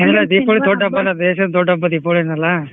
ದೀಪಾವಳಿ ದೊಡ್ಡ ಹಬ್ಬ ಅಲ್ಲ ದೇಶದ್ ದೊಡ್ಡ ಹಬ್ಬ ದೀಪಾವಳಿನ ಅಲ್ಲ.